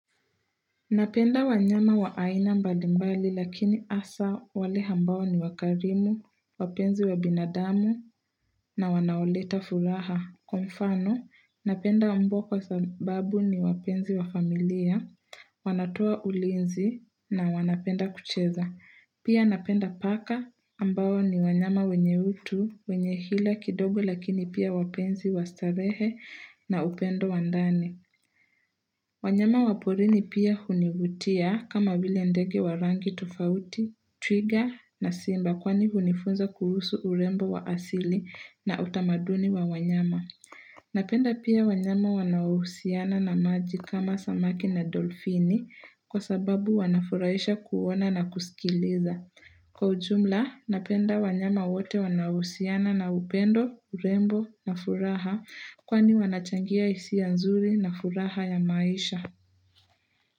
Napenda wanyama wa aina mbali mbali lakini hasa wale ambao ni wakarimu, wapenzi wa binadamu na wanaoleta furaha. Kwa mfano, napenda mbwa kwa sababu ni wapenzi wa familia, wanatoa ulinzi na wanapenda kucheza. Pia napenda paka ambao ni wanyama wenyebutu, wenye hila kidogo lakini pia wapenzi wa starehe na upendo wa ndani. Wanyama waporini pia hunivutia kama vile ndege wa rangi tofauti, twiga na simba kwani hunifunza kuhusu urembo wa asili na utamaduni wa wanyama. Napenda pia wanyama wanaohusiana na maji kama samaki na dolfini kwa sababu wanafurahisha kuona na kusikiliza. Kwa ujumla, napenda wanyama wote wanaohusiana na upendo, urembo na furaha kwani wanachangia hisia nzuri na furaha ya maisha.